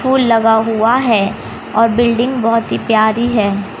Full लगा हुवा है और बिल्डिंग बहोत ही प्यारी हैं।